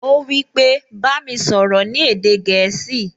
Ó wípé, "Bá mi sọ̀rọ̀ ní èdè gẹ̀ẹ́sì"